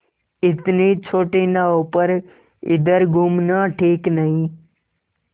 इतनी छोटी नाव पर इधर घूमना ठीक नहीं